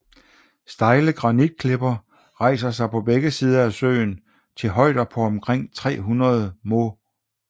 Stejle granitklipper rejser sig på begge sider af søen til højder på omkring 300 moh